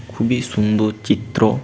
খুবী সুন্দর চিত্র